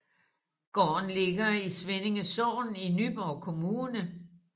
Gården ligger i Svindinge Sogn i Nyborg Kommune